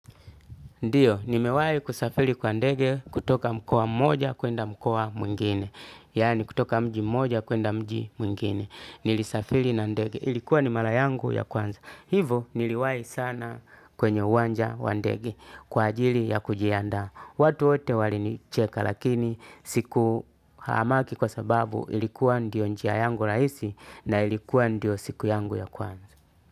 Ndiyo, nimewai kusafiri kwa ndege kutoka mkoa mmoja kwenda mkoa mwingine. Yani kutoka mji mmoja kwenda mji mwingine. Nilisafili na ndege. Ilikuwa ni mara yangu ya kwanza. Hivo niliwai sana kwenye uwanja wa ndege kwa ajili ya kujianda. Watu wote walinicheka lakini siku haamaki kwa sababu ilikuwa ndio njia yangu rahisi na ilikuwa ndio siku yangu ya kwanza.